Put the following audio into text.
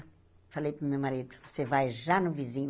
Falei para o meu marido, você vai já no vizinho.